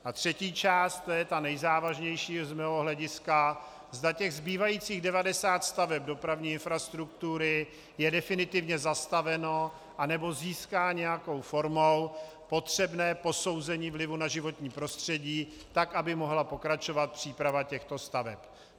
A třetí část, to je ta nejzávažnější z mého hlediska, zda těch zbývajících 90 staveb dopravní infrastruktury je definitivně zastaveno, anebo získá nějakou formou potřebné posouzení vlivu na životní prostředí tak, aby mohla pokračovat příprava těchto staveb.